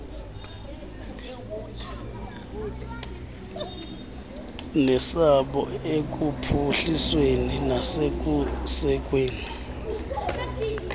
nesabo ekuphuhlisweni nasekusekweni